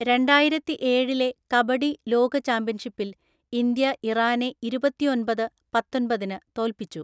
രണ്ടായിരത്തിഏഴിലെ കബഡി ലോക ചാമ്പ്യൻഷിപ്പിൽ ഇന്ത്യ ഇറാനെ ഇരുപത്തിഒന്‍പത്–പത്തൊന്‍പതിന് തോൽപിച്ചു.